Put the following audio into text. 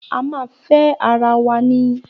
A máa fẹ́ ara wa ni.